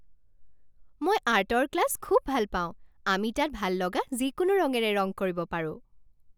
মই আৰ্টৰ ক্লাছ খুব ভাল পাওঁ। আমি তাত ভাল লগা যিকোনো ৰঙেৰে ৰং কৰিব পাৰোঁ।